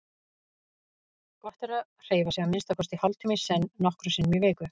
Gott er að hreyfa sig að minnsta kosti hálftíma í senn nokkrum sinnum í viku.